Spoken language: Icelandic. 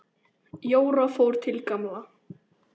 Jóra fór til Gamla.